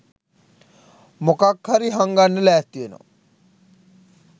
මොකක් හරි හංගන්න ලෑස්ති වෙනවා